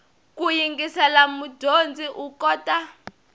ku yingisela mudyondzi u kota